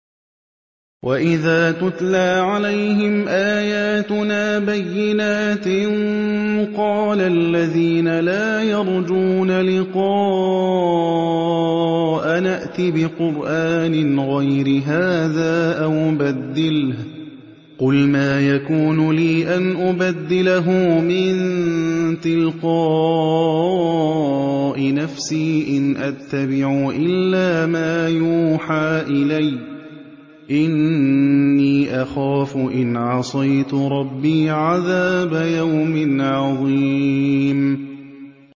وَإِذَا تُتْلَىٰ عَلَيْهِمْ آيَاتُنَا بَيِّنَاتٍ ۙ قَالَ الَّذِينَ لَا يَرْجُونَ لِقَاءَنَا ائْتِ بِقُرْآنٍ غَيْرِ هَٰذَا أَوْ بَدِّلْهُ ۚ قُلْ مَا يَكُونُ لِي أَنْ أُبَدِّلَهُ مِن تِلْقَاءِ نَفْسِي ۖ إِنْ أَتَّبِعُ إِلَّا مَا يُوحَىٰ إِلَيَّ ۖ إِنِّي أَخَافُ إِنْ عَصَيْتُ رَبِّي عَذَابَ يَوْمٍ عَظِيمٍ